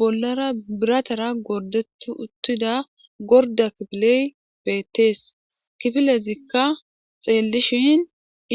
Bollara biratara gorddetti uttida gordda kifiley beettees kifilezikka xeellishin